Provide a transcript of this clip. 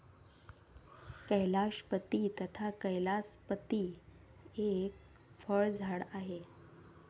कैलाशपती तथा कैलासपती एक फळझाड आहे.